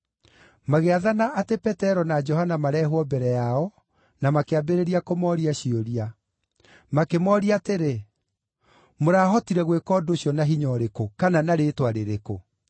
Magĩathana atĩ Petero na Johana mareehwo mbere yao, na makĩambĩrĩria kũmooria ciũria. Makĩmooria atĩrĩ, “Mũrahotire gwĩka ũndũ ũcio na hinya ũrĩkũ, kana na rĩĩtwa rĩrĩkũ?”